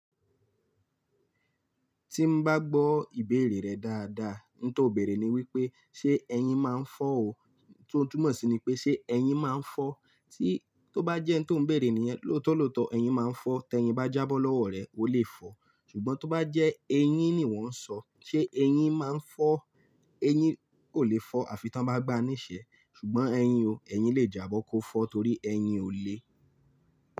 Tí n bá gbọ́ ìbéèrè rẹ dáadáa, n tó bèèrè ni wípé, ṣe ẹyin máa ń fọ́ o, tó túnmọ̀ sí ní pé ṣe ẹyin máa ń fọ́. Tí tó bá jẹ́ n tó ń bèèrè nìyen lóòtó lóòtó, ẹyin máa ń fọ́, tí ẹyin bá jábọ́ lọ́wọ́ rẹ, o lè fọ̀. Ṣùgbọ́n tó bá jẹ́ eyín ni wọ́n ń sọ, ṣe eyín máa ń fọ́? Eyín kò lè fọ àfi tí wọ́n bá gba ní ìṣẹ́. Ṣùgbọ́n ẹyin o, ẹyin lè jábọ́ kó fọ́ torí ẹyin o lé.